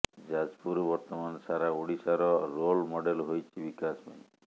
ଯାଜପୁର ବର୍ତ୍ତମାନ ସାରା ଓଡ଼ିଶାର ରୋଲ ମଡ଼େଲ ହୋଇଛି ବିକାଶ ପାଇଁ